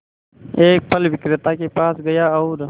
एक फल विक्रेता के पास गया और